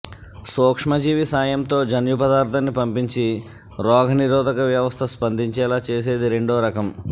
సూక్ష్మజీవి సాయంతో జన్యుపదార్థాన్ని పంపించి రోగ నిరోధక వ్యవస్థ స్పందించేలా చేసేది రెండో రకం